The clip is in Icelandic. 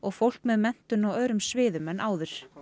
fólk með menntun á öðrum sviðum en áður